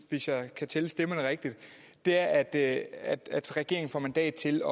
hvis jeg kan tælle stemmerne rigtigt er at at regeringen får mandat til